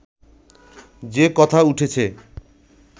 যে কথা উঠেছে